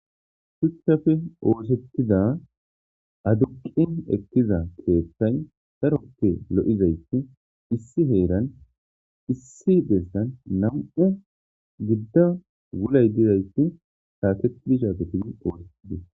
Shuchchafe ooshettida aduqin ekkiza keethtay darokki lo7izayti issi heeran issi dessan nam7u gidda wulay didayti saaketdi shaateti oochetidis